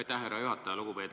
Aitäh, härra juhataja!